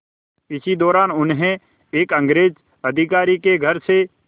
इसी दौरान उन्हें एक अंग्रेज़ अधिकारी के घर से